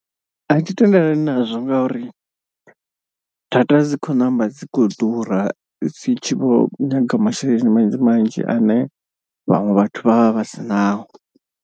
A thi tendelani nazwo ngauri data dzi khou ṋamba dzi kho ḓura dzi tshi vho nyaga masheleni manzhi manzhi ane vhaṅwe vhathu vha vha vha si nao.